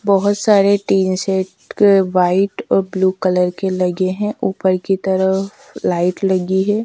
बहुत सारे tin set के व्हाइट और ब्लू कलर के लगे हैं ऊपर की तरफ लाइट लगी है।